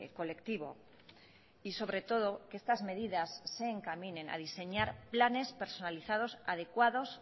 colectivo y sobre todo que estas medidas se encaminen a diseñar planes personalizados adecuados